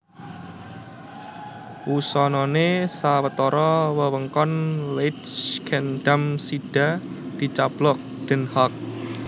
Wusanané sawetara wewengkon Leidschendam sida dicaplok Den Haag